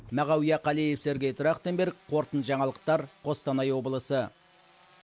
мағауия қалиев сергей трахтенберг қорытынды жаңалықтар қостанай облысы